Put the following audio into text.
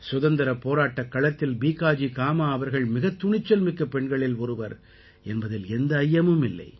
சுதந்திரப் போராட்டக் களத்தில் பீகாஜி காமா அவர்கள் மிகத் துணிச்சல் மிக்க பெண்களில் ஒருவர் என்பதில் எந்த ஐயமுமில்லை